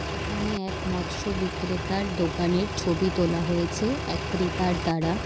এখানে এক মৎস্য বিক্রেতার দোকানের ছবি তোলা হয়েছে এক ক্রেতার দ্বারা --